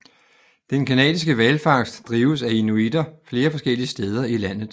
Den canadiske hvalfangst drives af inuitter flere forskellige steder i landet